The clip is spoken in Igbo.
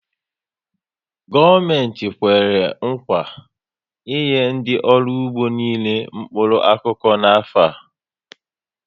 Gọọmenti Kwèrè nkwà i enye ndị ọrụ ugbo niile mkpụrụ okụkụ n'afọ a